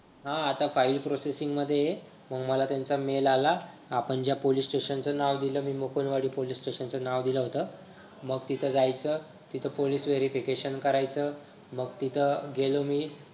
हां आता file processing मध्ये आहे मंग मला त्यांचा mail आला आपण ज्या police station च नाव दिलं मी मुकुंदवाडी police station च नाव दिलं होत मग तिथं जायचं तिथं police verification करायचं मग तिथं गेलो मी